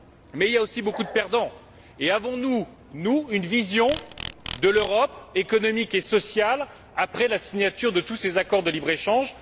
Mais il y a aussi beaucoup de perdants et avons nous, nous, une vision de l'Europe économique et sociale après la signature de tous ces accords de libre échange?